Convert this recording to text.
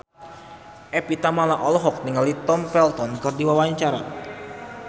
Evie Tamala olohok ningali Tom Felton keur diwawancara